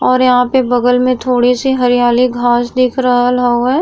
और यहाँ पे बगल में थोड़ी सी हरियाली घास दिख रहल हउवे।